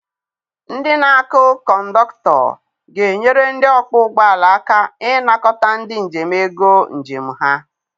Ndị na akụ cọndọkụtọ ga-enyere ndị ọkpọ ụgbọala aka ịnakọta ndị njem ego njem ha.